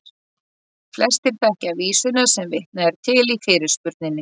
Flestir þekkja vísuna sem vitnað er til í fyrirspurninni.